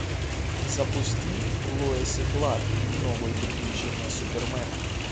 запусти лоис и кларк новые приключения супермена